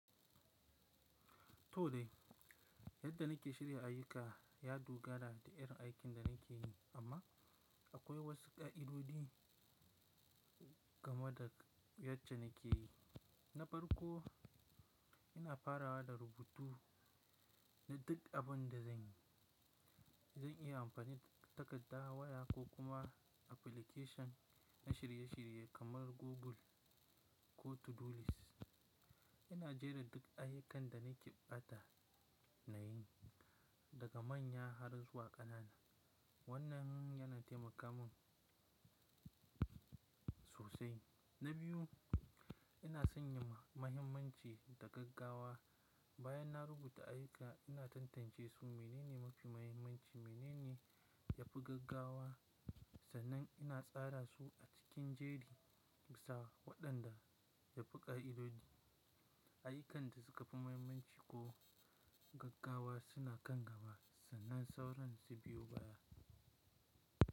To dai, yadda nake shirya ayuka ya dogara da irin aikin da nake yi amma akwai wasu ƙa'idodi game da yadda nake yi. Na farko, ina farawa da rubutu na duk abin da zan yi. Zan iya amfani da takarda, waya ko kuma application na shirye-shirye kamar Google ko To-Do List. Ina jera duk ayukan da nake bukata nayi, daga manya har zuwa ƙanana. Wannan yana taimaka min sosai. Na biyu, ina sanya mahimmanci da gaggawa. Bayan na rubuta ayuka, ina tantance su mene ne mafi mahimmanci, mene ne ya fi gaggawa sannan ina tsara su a cikin jeri bisa waɗanda ya fi ƙa'idodi. Ayukan da suka fi mahimmanci ko gaggawa suna kan gaba sannan sauran su biyu baya.